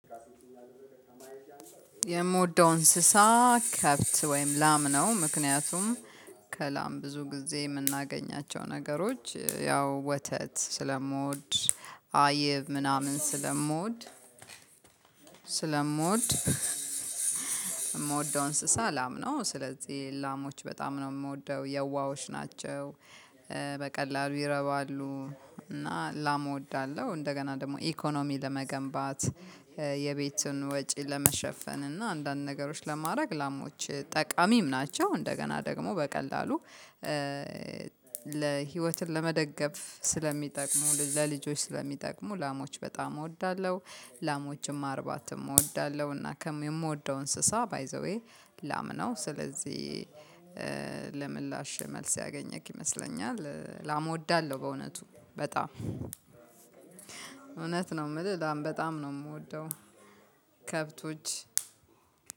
የምወደው እንስሳ ከብት ወይም ላም ነው ምክንያቱም ከላም ብዙ ጊዜ ምናገኛቸው ነገሮች ያው ወተት ስለምወድ አይብ ምናምን ስለምወድ ስለምወድ እምወደው እንስሳ ላም ነው። ስለዚህ ላሞች በጣም ነው ምወደው የዋሀወች ናቸው። በቀላሉ ይረባሉ እና ላም እወዳለሁ። እንደገና ደግሞ ኢኮኖሚ ለመገንባት የቤቱን ወጪ ለመሸፈን እና አንዳንድ ነገሮች ለማረግ ላሞች ጠቃሚም ናቸው። እንደገና ደግሞ በቀላሉ ለህይወትን ለመደገፍ ስለሚጠቅሙ ለልጆች ስለሚጠቅሙ ላሞች በጣም እወዳለሁ። ላሞችም ማርባትም እወዳለሁ እና ከምወደው እንስሳ ባይ ዘዌይ ላም ነው። ስለዚህ ለምላሽ መልስ ያገኘክ ይመስለኛል ላም እወዳለሁ በእውነቱ በጣም እውነት ነው ምልህ በጣም ነው ምወደው። ከብቶች